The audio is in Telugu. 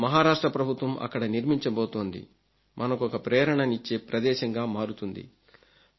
ఇప్పుడు మహారాష్ట్ర ప్రభుత్వం అక్కడ నిర్మించబోతోంది మనకొక ప్రేరణనిచ్చే ప్రదేశంగా మారుతుంది